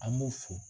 An b'u fo